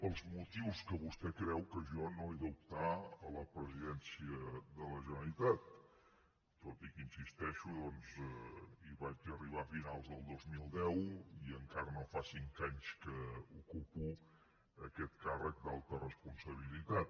pels motius que vostè creu que jo no he d’optar a la presidència de la generalitat tot i que hi insisteixo hi vaig arribar a finals del dos mil deu i encara no fa cinc anys que ocupo aquest càrrec d’alta responsabilitat